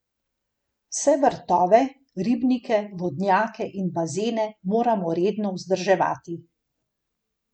Vse vrtove, ribnike, vodnjake in bazene moramo redno vzdrževati.